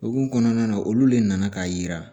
Okumu kɔnɔna na olu le nana k'a yira